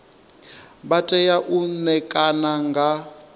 vha tea u ṋekana nga